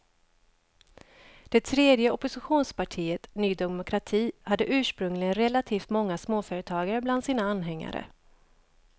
Det tredje oppositionspartiet, ny demokrati, hade ursprungligen relativt många småföretagare bland sina anhängare.